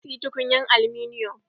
Na siyi tukunyar aluminiyon.